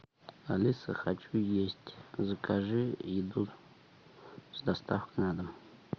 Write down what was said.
алиса хочу есть закажи еду с доставкой на дом